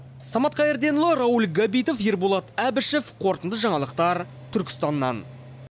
самат қайырденұлы рауль габитов ерболат әбішов қорытынды жаңалықтар түркістаннан